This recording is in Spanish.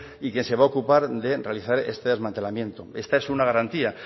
y que se va a ocupar de realizar este desmantelamiento esta es una garantía